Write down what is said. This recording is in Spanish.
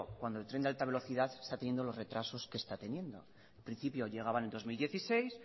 cuando el tren de alta velocidad está teniendo los retrasos que está teniendo en principio llegaba en el dos mil dieciséis